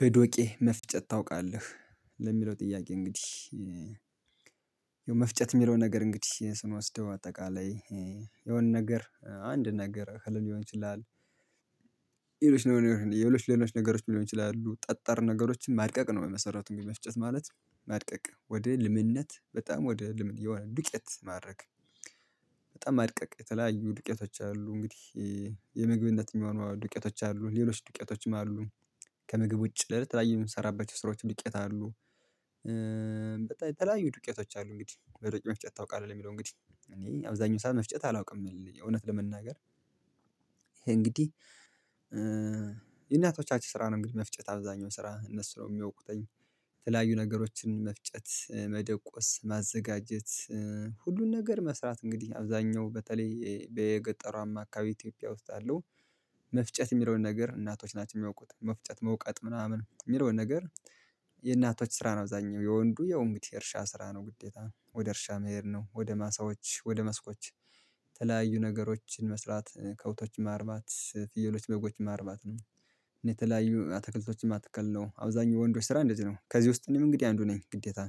በዶቄ መፍጨት ታውቃለህ ለሚለው ጥያቄ እንግዲህ የመፍጨት የሚለው ነገር እንግዲህ ስንወስደው አጠቃላይ የሆነ ነገር አንድ ነገር እህልም ሊሆን ይችላል ነው የሌሎች ሌሎች ነገሮች ሊሆን ይችላሉ ጠጠር ነገሮችን ማድቀቅ ነው በመሰረቱን ግን መፍጨት ማለት ማድቀቅ ወደ ልምነት በጣም ወደ ልምነት የሆነ ዱቄት ማድረግ። በጣም ማድቀቅ የተለያዩ ዱቄቶች አሉ እንግዲህ የምግብነት የሚሆኑ ዱቄቶች አሉ ሌሎች ድቄየቶችም አሉ ከምግብ ውጪ ልል የተለዩ የምንሰራበት ስራዎች ዱቄየት አሉ። በጣም የተለያዩ ዱቄየቶች አሉ እንግዲህ በዶቄ መፍጨት ታውቃለህ የሚለው እንግዲህ እኔ አብዛኛው ሰዓት መፍጨት አላውቅም እውነት ለመናገር። ይሄ እንግዲህ የእናቶቻችን ስራ ነው እንግዲህ መፍጨት አብዛኛው ስራ እነሱ ነው የሚያውቁትኝ የተለያዩ ነገሮችን መፍጨት መደቆስ ማዘጋጀት ሁሉን ነገር መስራት እንግዲህ አብዛኛው በተለይ በገጠሩአማ አማካይ ኢትዮጵያ ውስጥ አለው። መፍጨት የሚለውን ነገር እናቶች ናቸው የሚያውቁት መፍጨት መውቀጥ ምናምን የሚለውን ነገር። የእናቶች ስራ ነው አብዛኛው የወንዱ የው እንግዲ የእርሻ ስራ ነው ግዴታ ወደ እርሻ መሄድ ነው ወደ ማሳዎች ወደ መስኮች የተለያዩ ነገሮችን መስራት ከበቶችም ማርባት ፍየሎች በጎችም ማርባት ነው። እኔ የተለያዩ አትክልቶችም መትክል ነው አብዛኛው የወንዶች ስራ እንደዚህ ነው ከዚህ ውስጥ እኔም እንግዲህ አንዱ ነኝ ግዴታ።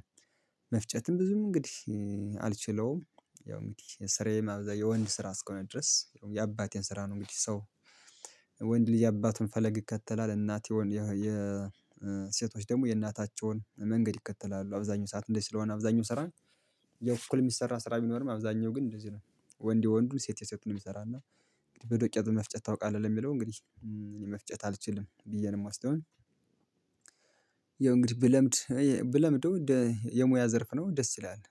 መፍጨትም ብዙም እንግዲህ አልችለውም ያው እንግዲ የስራዬ አብዛኛው የወንድ ስራ እስከሆነ ድረስ የአባቴን ስራ ነው። እንግዲህ ሰው ወንድ ልጅ አባትን ፈለግ ይከተላል እናት የሆኑ የሴቶች ደግሞ የእናታቸውን መንገድ ይከተላሉ አብዛኛው ሰዓት እንደዚህ ስለሆነ አብዛኛው ስራ ነው። የእኩል የሚሰራ ስራ ቢኖርም አብዛኛው ግን እንደዚህ ነው። ወንድ ወንዱ ሴት የሴቱን የሚሰራና በዶቄት መፍጨት ታውቃለህ ለሚለው እንግዲህ እኔ መፍጨት አልችልም ብዬ ነው የምወስደው። ያው እንግዲህ ብለምድ ብለምደው የሙያ ዘርፍ ነው ደስ ይለናል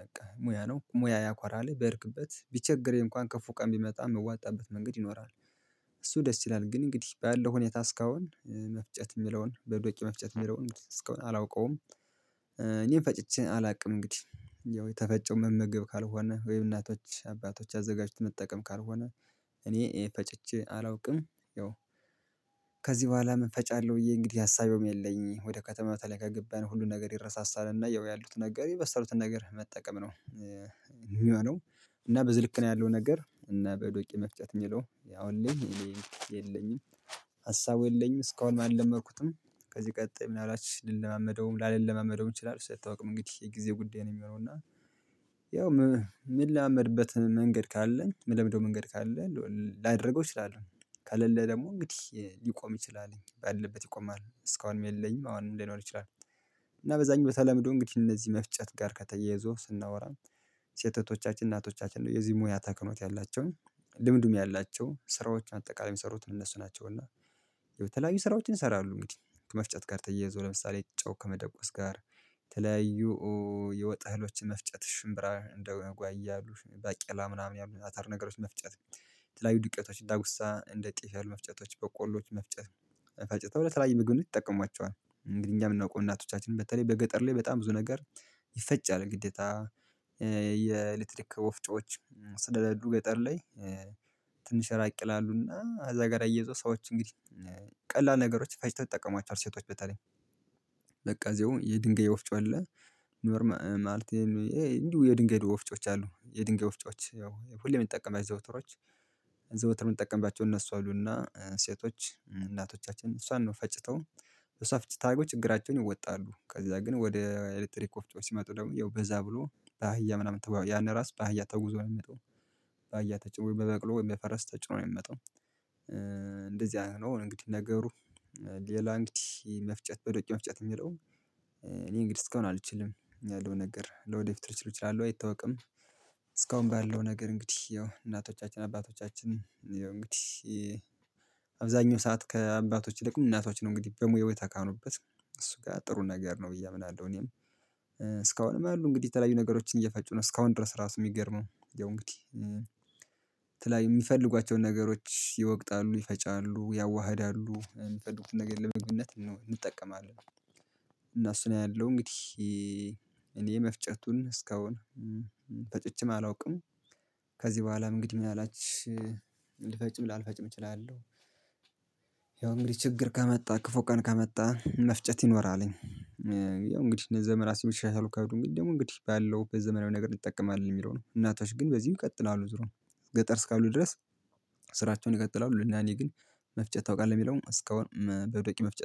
በቃ ሙያ ነው ሙያ ያኳራልህ በሄድክበት ቢቸግርህ እንኳን ከፉ ቀን ቢመጣ የምዋጣበት መንገድ ይኖራል። እሱ ደስ ይላል ግን እንግዲህ ባለው ሁኔታ እስካሁን መፍጨት የምለውን በዶቄ መፍጨት የሚለውን እስካሁን አላውቀውም። እኔም ፈጭቼ አላውቅም እንግዲህ ያው የተፈጨውን መመገብ ካልሆነ ወይ እናቶች አባቶች አዘጋጅተን መጠቀም ካልሆነ እኔ ይሄ ፈጨጭ አላውቅም ያው። ከዚህ በኋላም ፈጫለሁ ብዬ እንግዲህ አሳቢውም የለኝም ወደ ከተማው ተለይ ከገባን ሁሉን ነገር ይረሳሳልና ያው ያሉት ነገር የበሰሉትን ነገር መጠቀም ነው። የሚሆነው እና በዝህ ልክ ነው ያለው ነገር እና በዶቄ መፍጨት የለውም ያው እኔ የለኝም ሀሳቡ የለኝም እስካሁን ማን አለመድኩትም። ከዚህ ቀጣይ ምን አላችሁ ልለማመደውም ላለማመደውም ይችላል እሱ አይታወቅም እንግዲህ የጊዜ ጉዳይ ነው የሚሆነው እና ያው ምን ላመዠማመድበት መንገድ ካለን ምለምደው መንገድ ካለን ላደርገው እችላለሁ ከሌለ ደግሞ እንግዲህ ሊቆም እችላለሁ ባለበት ይቆማል እስካሁንም የለኝም አሁን ሊኖር ይችላል። እና በዛኝ ቦተላምዶ እንግዲህ እነዚህ መፍጨት ጋር ከተያያዘው ስናወራ ሴት እህቶቻችን እናቶቻችን ነው የዚህ ሙያ ተክኖት ያላቸውን ልምድም ያላቸው ስራዎች አጠቃላይ የሚሰሩትን እነሱ ናቸው እና የተለያዩ ስራዎችን ይሰራሉ እንግዲህ ከመፍጨት ጋር ተየዞ ለምሳሌ ጨው ከመደቆስ ጋር የተለያዩ የወጥ እህሎችን መፍጨት ሽንብር እንደው ጓያ አሉ ባቄላ ምናምን ያሉት አተር ነገሮች መፍጨት። የተለያዩ ዱቄቶች ዳጉሳ እንደ ጤፍ መፍጨቶች በቆሎች መፍጨት መፍጨት ተብለህ ለተለያየይ ምግብ ይጠቀሟቸዋል እንግዲህ እኛም የምናውቀው እናቶቻችን በተለይ በገጠር ላይ በጣም ብዙ ነገር ይፈጫል ግዴታ የኤሌክትሪክ ወፍጮዎች ስለሌሉ ገጠር ላይ ትንሽ ራቅ ይላሉና እዛ ጋር አያየዘው ሰዎች እንግዲህ ቀላል ነገሮች ፈጭተወ ይተጠቀሟቸዋል ሴቶች በተለይ ለቀዘው የድንጋይ ወፍጮ አለ። ኖርማ ማለት እንዲሁ የድንጋይ ወፍጮች አሉ የድንገይ ወፍጮዎች ያው ሁሌም የምንጠቀምባቸው ዘውትሮች ዘውትር የምንጠቀምባቸው እነሱ አሉና ሴቶች እናቶቻችን እሷን ነው ፈጭተው እሷ ፍጭት አርገው ችግራቸውን ይወጣሉ ከዛ ግን ወደ ኤሌክትሪክ ወፍጮ ሲመጡ ደግሞ ያው በዛ ብሎ ባህያ ምናምን ያን ራስ ባህያ ተጉዞ ነው የሚመጣው ባሀያ ተጭኖ በበቅሎ በፈረስ ተጭኖ ነው የሚመጣው። አይነት ነው እንግዲህ ነገሩ ሌላ እንግዲህ መፍጨት በዶቄ መፍጨት የሚለው እኔ እንግዲህ እስካሁን አልችልም ያለው ነገር ለወደፊት ልችል እችላለሁ አይታወቅም። እስካሁን ባለው ነገር እንግዲህ ያው እናቶቻችን አባቶቻችን ያው እንግዲህ አብዛኛው ሰዓት ከአባቶች ይልቅ እናቶች ነው እንግዲህ በሙያው የተካኑበት እሱ ጋር ጥሩ ነገር ነው ብዬ አምናለሁ። እኔም እስካሁንም ያሉ እንግዲህ የተለያዩ ነገሮችን እየፈጩ ነው እስካሁን ድረስ ራሱ የሚገርመው ያው እንግዲህ የተለያዩ የሚፈልጓቸውን ነገሮች ይወቅጣሉ ይፈጫሉ ያዋህዳሉ እሚፈልጉት ነገር ለመግብነት እንጠቀማለን። እና እሱን አያለሁ እንግዲህ እኔ መፍጨቱን እስካሁን ፈጭቼም አላውቅም። ከዚህ በኋላም እንግዲህ ምን አላችሁ ልፈጭም ላልፈጭም እችላለሁ ያው እንግዲህ ችግር ከመጣ ክፉ ቀን ከመጣ መፍጨት ይኖራልኝ። ያው እንግዲህ እንደዛ ምራሴ የሚትሻሻሉ ካሉ እንግዲህ ደግሞ እንግዲህ ባለው በዘመናዊ ነገር ይጠቀማል የሚለው ነው እናቶች ግን በዚህ ይቀጥላሉ ዙሮ ገጠር እስካሉ ድረስ ስራቸውን ይቀጥላሉ። ለእና እኔ ግን መፍጨት ታውቃለህ የሚለውን እስካሁን በዶቄ መፍጨት